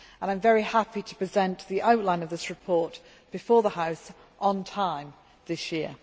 I am very happy to present the outline of this report to the House on time this year.